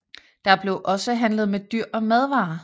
Der blev også handlet med dyr og madvarer